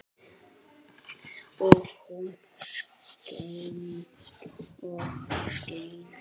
Og hún skein og skein.